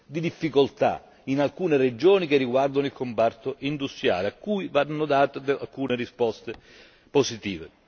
di difficoltà in alcune regioni che riguardano il comparto industriale, a cui vanno date alcune risposte positive.